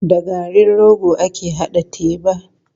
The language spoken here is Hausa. Da garin rogo ake haɗa teba.